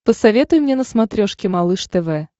посоветуй мне на смотрешке малыш тв